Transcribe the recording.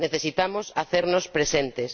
Necesitamos hacernos presentes.